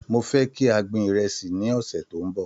Mo fẹ́ kí a gbin ìrẹsì ní ọ̀sẹ̀ tó ń bọ̀.